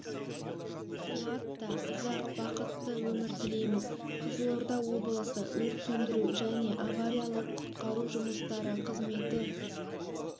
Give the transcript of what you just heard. қуат ұзақ та бақытты өмір тілейміз қызылорда облысы өрт сөндіру және авариялық құтқару жұмыстары қызметі